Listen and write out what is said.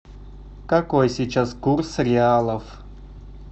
какой сейчас курс реалов